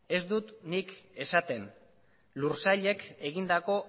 ez dut nik esaten lur sailek egindako